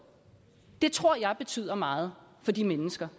det tror jeg betyder meget for de mennesker